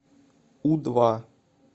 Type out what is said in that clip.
у два